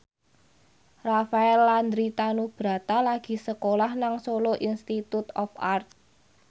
Rafael Landry Tanubrata lagi sekolah nang Solo Institute of Art